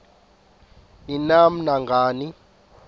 ni nam nangani